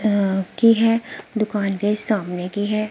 अ की है दुकान के सामने की है।